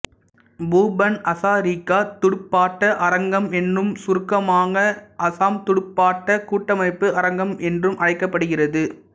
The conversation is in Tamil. பூபன் ஹசாரிகா துடுப்பாட்ட அரங்கம் என்றும் சுருக்கமாக அசாம் துடுப்பாட்டக் கூட்டமைப்பு அரங்கம் என்றும் அழைக்கப்படுகிறது